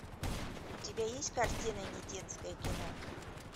у тебя есть картина недетское кино